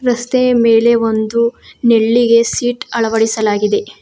ರಸ್ತೆಯ ಮೇಲೆ ಒಂದು ನೆಳ್ಳಿಗೆ ಸೀಟ್ ಅಳವಡಿಸಲಾಗಿದೆ.